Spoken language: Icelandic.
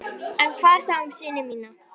En hvað þá um syni mína?